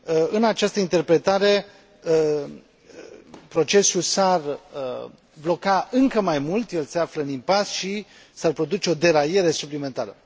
În această interpretare, procesul s ar bloca încă mai mult, el se află în impas și s ar produce o deraiere suplimentară.